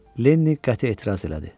Lennini qəti etiraz elədi.